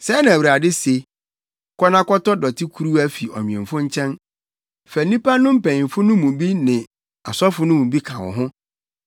Sɛɛ na Awurade se: “Kɔ na kɔtɔ dɔtekuruwa fi ɔnwemfo nkyɛn. Fa nnipa no mpanyimfo no mu bi ne asɔfo no mu bi ka wo ho